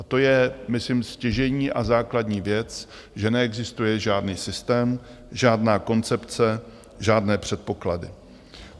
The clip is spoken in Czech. A to je, myslím, stěžejní a základní věc, že neexistuje žádný systém, žádná koncepce, žádné předpoklady.